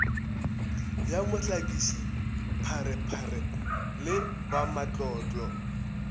ya mohlakiši pharephare le bamatlotlo